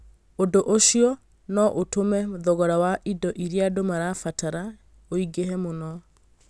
Ũndũ ũcio no ũtũme thogora wa indo iria andũ mabataraga ũingĩhe mũno